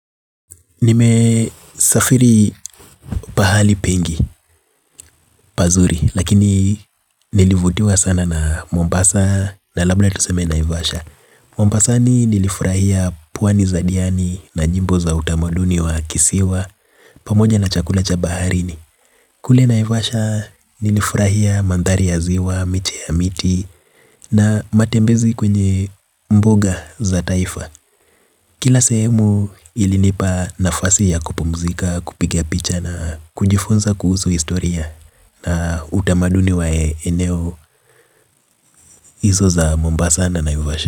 Nime safiri pahali pengi, pazuri, lakini nilivutiwa sana na mombasa na labda tuseme naivasha. Mombasani nilifurahia pwani za diani na nyimbo za utamaduni wa kisiwa. Pamoja na chakula cha baharini. Kule naivasha nilifurahia mandhari ya ziwa, miti ya miti na matembezi kwenye mbuga za taifa. Kila sehemu ilinipa nafasi ya kupumzika, kupiga picha na kujifunza kuhusu historia. Utamaduni wa eneo hizo za Mombasa na Naivasha.